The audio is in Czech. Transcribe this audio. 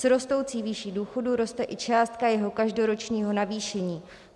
S rostoucí výší důchodů roste i částka jeho každoročního navýšení.